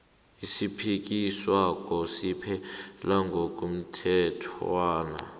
esiphikiswako siphela ngokomthetjhwana